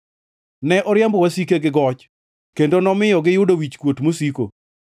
Ne oriembo wasike gi goch, kendo nomiyo giyudo wichkuot mosiko.